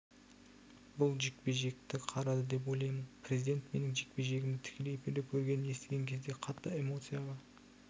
бұл жекпе-жекті қарады деп ойлаймын президент менің жекпе-жегімді тікелей эфирде көргенін естіген кезде қатты эмоцияға